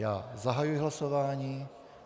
Já zahajuji hlasování.